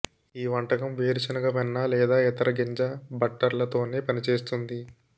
ఈ వంటకం వేరుశెనగ వెన్న లేదా ఇతర గింజ బట్టర్లతోనే పనిచేస్తుంది